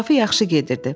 İnkişafı yaxşı gedirdi.